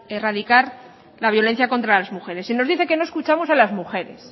erradicar la violencia contra las mujeres y nos dice que no escuchamos a las mujeres